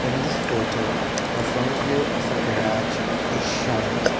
in this photo of front view of a garage is shown.